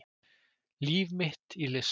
Líf mitt í list